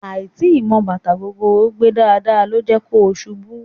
Àì tíì mọ bàtà gogoro gbé dáadáa ló jẹ́ kó ṣubú